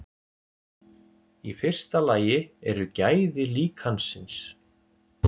í fyrsta lagi eru gæði líkansins